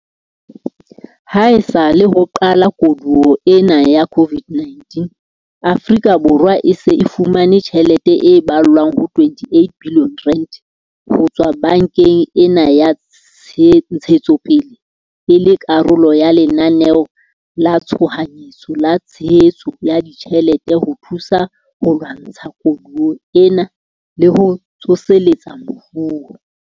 Haesale ho qala koduwa ena ya COVID-19, Afrika Borwa e se e fumane tjhelete e ballwang ho R28 billione ho tswa bankeng ena ya Ntshetsopele e le karolo ya Lenaneo la Tshohanyetso la Tshehetso ya Ditjhelete ho thusa ho lwantsha koduwa ena le ho tsoseletsa moruo.